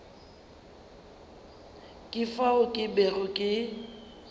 ka fao ke bego ke